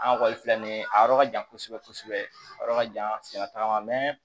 An kɔni filɛ nin ye a yɔrɔ ka jan kosɛbɛ kosɛbɛ a yɔrɔ ka jan